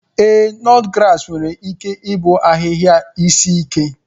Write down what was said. Ee, nutgrass nwere ike ịbụ ahịhịa isi ike.